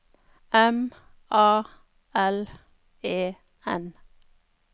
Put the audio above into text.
M A L E N